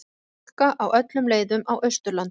Hálka á öllum leiðum á Austurlandi